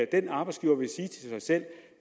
den arbejdsgiver vil sige til sig selv